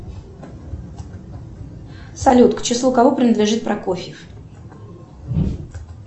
салют к числу кого принадлежит прокофьев